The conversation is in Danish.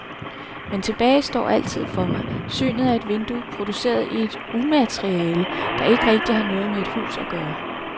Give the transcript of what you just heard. Men tilbage står altid for mig synet af et vindue produceret i et umateriale, der ikke rigtig har noget med et hus at gøre.